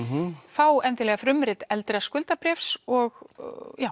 fá endilega frumrit eldra skuldabréfs og